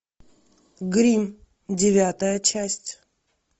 гримм девятая часть